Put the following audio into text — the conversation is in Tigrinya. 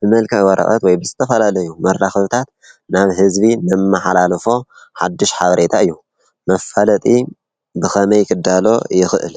ብመልክዕ ወረቀት ወይ ብዝተፈላለዩ መራከብታት ናብ ህዝቢ ነመሓላልፎ ሓዱሽ ሓበሬታ እዩ። መፋለጢ ብከመይ ክዳሎ ይኽእል?